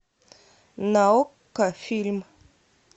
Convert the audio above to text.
на окко фильм